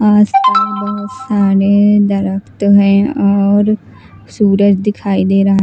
आज पास बहोत सारे और सूरज दिखाई दे रहा--